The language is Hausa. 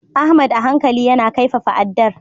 Ahmad a hankali yana kaifafa addar.